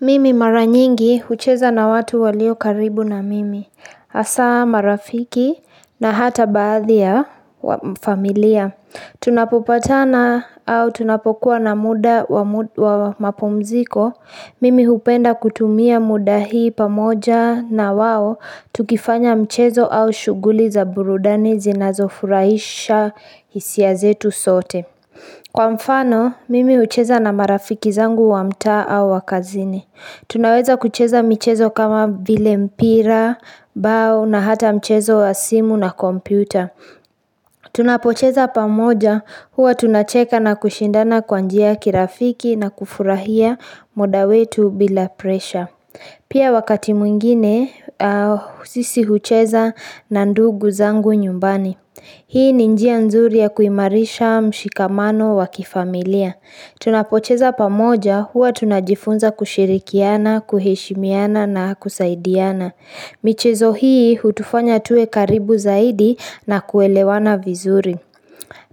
Mimi maranyingi hucheza na watu walio karibu na mimi. Hasaa marafiki na hata baadhi ya familia. Tunapopatana au tunapokuwa na muda wa mapumziko. Mimi hupenda kutumia muda hii pamoja na wao tukifanya mchezo au shughuli za burudani zinazofurahisha hisia zetu sote. Kwa mfano, mimi hucheza na marafiki zangu wa mtaa au wa kazini. Tunaweza kucheza mchezo kama vile mpira, bao na hata mchezo wa simu na kompyuta. Tunapocheza pamoja, huwa tunacheka na kushindana kwa njia kirafiki na kufurahia muda wetu bila presha. Pia wakati mwingine, sisi hucheza na ndugu zangu nyumbani. Hii ni njia nzuri ya kuimarisha mshikamano wa kifamilia. Tunapocheza pamoja huwa tunajifunza kushirikiana, kuheshimiana na kusaidiana. Michezo hii hutufanya tuwe karibu zaidi na kuelewana vizuri.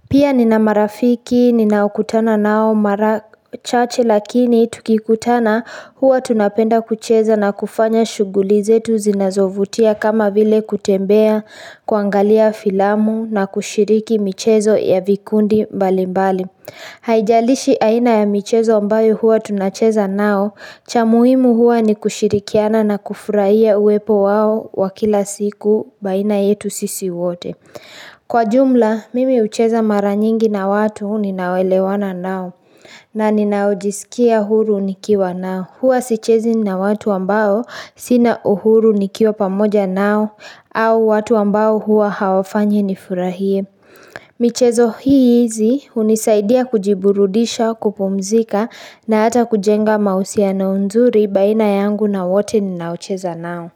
Pia nina marafiki, ninaokutana nao marachache lakini tukikutana huwa tunapenda kucheza na kufanya shughuli zetu zinazovutia kama vile kutembea kuangalia filamu na kushiriki michezo ya vikundi mbali mbali Haijalishi aina ya michezo ambayo huwa tunacheza nao cha muhimu huwa ni kushirikiana na kufurahia uwepo wao wa kila siku baina yetu sisi wote. Kwa jumla, mimi hucheza maranyingi na watu huu ninawelewana nao na ninaojisikia huru nikiwa nao. Huwa sichezi na watu ambao sina uhuru nikiwa pamoja nao au watu ambao huwa hawafanyi nifurahie. Michezo hii hizi hunisaidia kujiburudisha kupumzika na hata kujenga mahusiano nzuri baina yangu na wote ninaocheza nao.